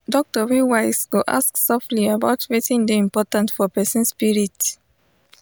doctor wey wise go ask softly about wetin dey important for person spirit.